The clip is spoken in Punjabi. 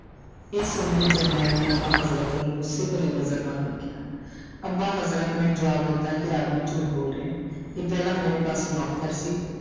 ਇਹ ਸੁਣ ਕੇ ਜਰਨੈਲ ਨੇ ਅੱਬਾ ਹਜ਼ਰਤ ਵੱਲ ਗੁੱਸੇ ਭਰੀ ਨਜ਼ਰ ਨਾਲ ਦੇਖਿਆ ਅੱਬਾ ਹਜ਼ਰਤ ਨੇ ਜਵਾਬ ਦਿੱਤਾ ਕਿ ਇਹ ਆਦਮੀ ਝੂਠ ਬੋਲ ਰਿਹਾ ਹੈ ਇਹ ਪਹਿਲਾਂ ਮੇਰੇ ਪਾਸ ਨੌਕਰ ਸੀ।